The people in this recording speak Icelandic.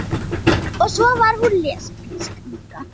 Og svo var hún lesbísk líka.